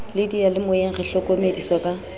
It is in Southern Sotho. le diyalemoyeng re hlokomediswa ka